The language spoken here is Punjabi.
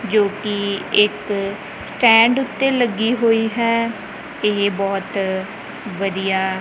ਜੋ ਕਿ ਇੱਕ ਸਟੈਂਡ ਉੱਤੇ ਲੱਗੀ ਹੋਈ ਹੈ ਇਹ ਬਹੁਤ ਵਧੀਆ--